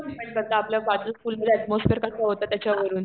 atmosphere कस होत त्याच्यावरून